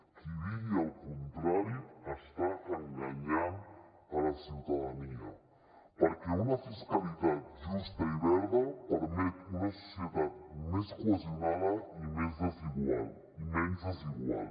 qui digui el contrari està enganyant la ciutadania perquè una fiscalitat justa i verda permet una societat més cohesionada i menys desigual